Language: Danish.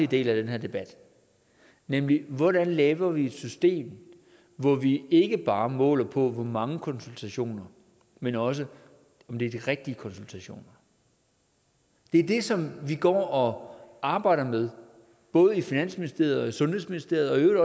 del af den her debat nemlig hvordan laver vi et system hvor vi ikke bare måler på hvor mange konsultationer men også om det er de rigtige konsultationer det er det som vi går og arbejder med både i finansministeriet og i sundhedsministeriet